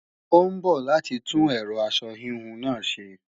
Ó ń bọ̀ láti tún ẹ̀rọ aṣọ híhun náà ṣe